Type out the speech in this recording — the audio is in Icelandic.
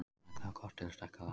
Smellið á kort til að stækka það.